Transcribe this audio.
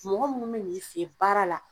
Mɔgɔ munnu be n'i fe ye baara la